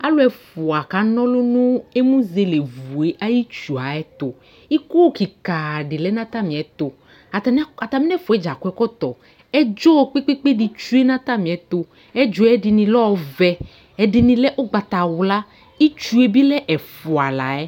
Alʋ ɛfʋa kana ɔlʋ nʋ emuzelevu yɛ ayʋ itsu yɛ ayɛtʋ Iko kɩka dɩ lɛ nʋ atamɩɛtʋ Atanɩ atamɩ nʋ ɛfʋa yɛ dza akɔ ɛkɔtɔ Ɛdzɔ kpe-kpe-kpe dɩ tsue nʋ atamɩɛtʋ Ɛdzɔ yɛ, ɛdɩnɩ lɛ ɔvɛ, ɛdɩnɩ lɛ ʋgbatawla kʋ itsu yɛ bɩ lɛ ɛfʋa la yɛ